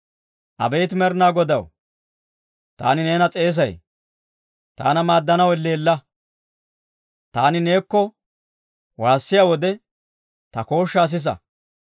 Abeet Med'inaa Godaw, taani neena s'eesay; taana maaddanaw elleella. Taani neekko waassiyaa wode, ta kooshshaa sisa!